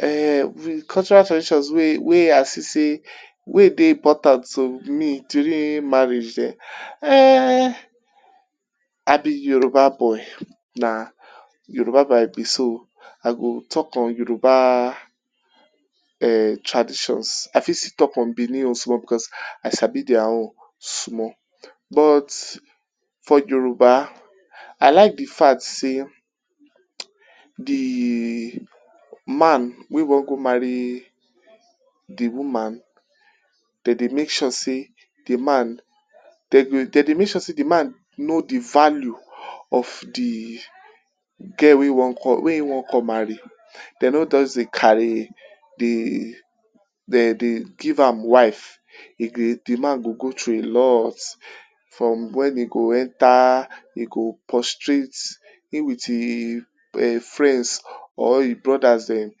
um de cultural traditions wey I see sey weyd ey important to me during marriage um I be Yoruba boy na Yoruba boy I be so I go talk on Yoruba traditions I fit still talk on benin own small because I sabi their own small but for Yoruba, I like de fact sey de man wey wan go marry de woman, dem dey make sure sey de man dem dey make sure sey de man know de value of de girl wey e wan come marry, dem no just dey carry dey dey give am wife. Dem dey de man go go through a lot from when e go enter e go prostrate im with e friends or e brothers dem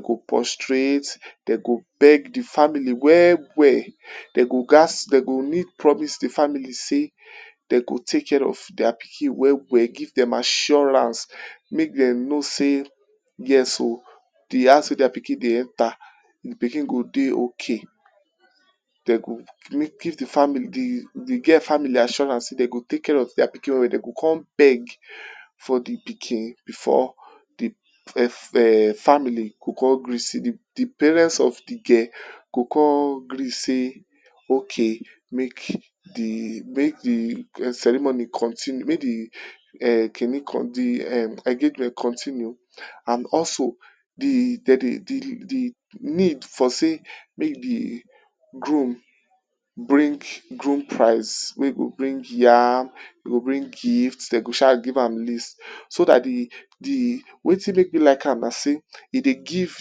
go prostrate dem go beg de family well well, dem go gat dem go need promise de family sey dem go take care of their pikin well well give dem assurance make dem know sey yes um de hands wey their pikin dey enter de pikin go dey okay dem go give de family de de, de girl family assurance sey dey go take care of their pikin well well dem go come beg for de pikin before de family go come gree, de parents of de girl go come gree sey okay make de make de ceremony continue make de kini um engagement continue and also de dey dey de de need for sey make de groom bring groom price wey go bring yam e go bring gift dem go sha give am list so dat de de wetin make me like am na sey e dey give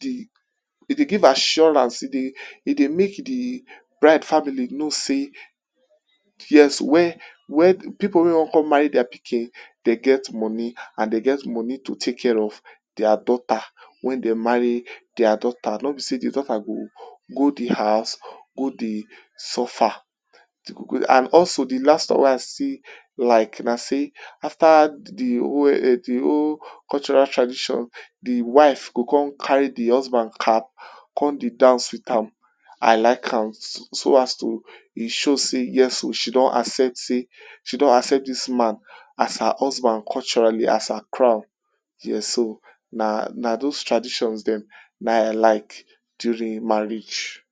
de give assurance e dey make de bride family know sey yes when when pipu wey wan come marry their pikin dem get money and dem get money to take care of their daughter when dem marry their daughter nor be sey their daughter go go de house go dey suffer, and also de last one wey I still like na sey after de whole um de whole cultural tradition, de wife go come carry de husband cap come dey dance with am, I like am so as to e show sey yes um she don accept sey, she don accept dis man as her husband culturally as her crown, yes um na those traditions dem na I like during marriage.